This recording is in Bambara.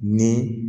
Ni